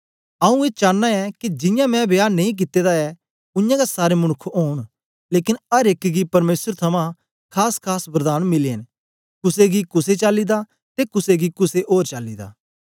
आऊँ ए चानां ऐ के जियां मैं विहा नेई कित्ते दा ऐ उयांगै सारे मनुक्ख ओन लेकन अर एक गी परमेसर थमां खासखास वरदान मिले न कुसे गी कुसे चाली दा ते कुसे गी कुसे ओर चाली दा